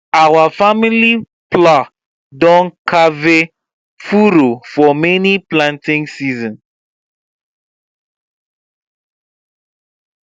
our family plow don carve furrow for many planting season